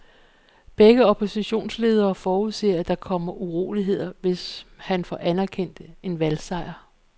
Begge oppositionsledere forudser, at der kommer uroligheder, hvis han får anerkendt en valgsejr.